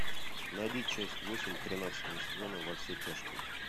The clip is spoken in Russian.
найди часть восемь тринадцатого сезона во все тяжкие